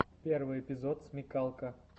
первый эпизод смекалка